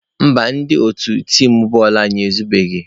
Mba, ndị otu tim bọọlụ anyị ezubeghị.